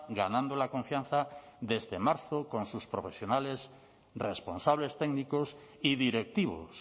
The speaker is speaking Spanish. ganando la confianza desde marzo con sus profesionales responsables técnicos y directivos